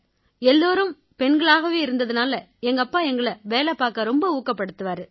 எல்லாரும் பெண்களாவே இருந்தாலும் எங்கப்பா எங்களை வேலை பார்க்க ரொம்ப ஊக்கப்படுத்துவாரு